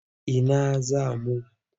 Ina za mu?